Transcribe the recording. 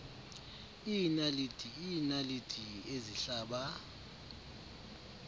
iinaliti iinaliti ezihlaba